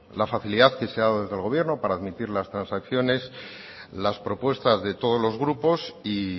la facilidad que se ha dado desde el gobierno para admitir las transacciones las propuestas de todos los grupos y